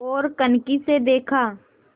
ओर कनखी से देखा